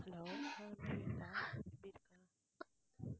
hello உம் சொல்லுடா எப்படி இருக்க?